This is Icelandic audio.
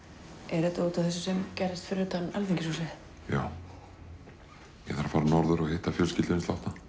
er þetta útaf þessu sem gerðist fyrir utan Alþingishúsið já ég þarf að fara norður og hitta fjölskylduna